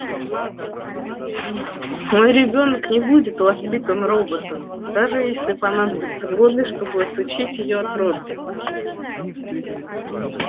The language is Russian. мой ребёнок не будет воспитан роботом даже если понадобятся годы чтобы отучить её от робби